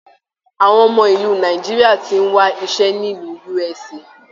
Àwọn ọmọ ìlú Nàìjíríà tí n wà iṣẹ nílu USA